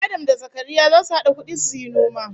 Adam da Zakaria zasu hada kudi suyi noma